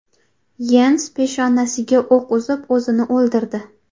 Yens peshonasiga o‘q uzib, o‘zini o‘ldirdi.